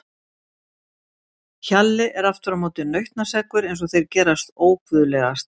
Hjalli er aftur á móti nautnaseggur eins og þeir gerast óguðlegastir.